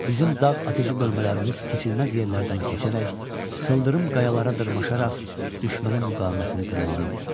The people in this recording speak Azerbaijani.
Bizim dağ atıcı bölmələrimiz keçilməz yerlərdən keçərək, sıldırım qayalara dırmaşaraq düşmənin müqavimətini qırmalı idi.